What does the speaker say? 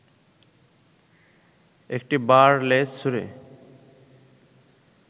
একটি বার লেজ ছুঁড়ে